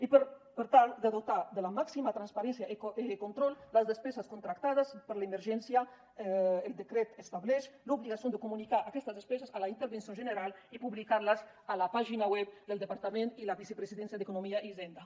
i per tal de dotar de la màxima transparència i control les despeses contractades per l’emergència el decret estableix l’obligació de comunicar aquestes despeses a la intervenció general i publicar les a la pàgina web del departament de la vicepresidència i d’economia i hisenda